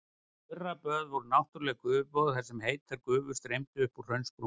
Þurraböð voru náttúrleg gufuböð þar sem heitar gufur streymdu upp úr hraunsprungum.